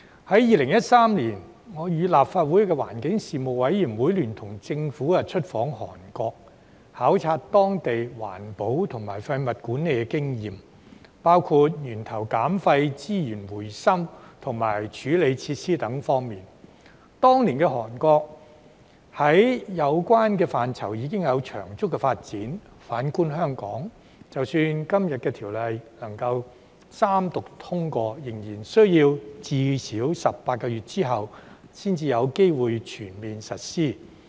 在2013年，我與立法會環境事務委員會聯同政府出訪韓國，考察當地在環保和廢物管理的經驗，包括源頭減廢、資源回收及處理設施等方面，當年的韓國，在有關範疇已有長足的發展；反觀香港，即使今天的《條例草案》能夠三讀通過，仍然需要最少18個月之後才有機會全面實施。